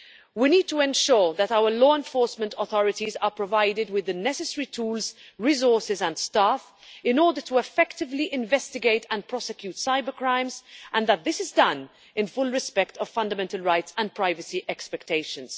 We need to ensure that our law enforcement authorities are provided with the necessary tools, resources and staff in order to effectively investigate and prosecute cybercrimes, and that this is done in full respect of fundamental rights and privacy expectations.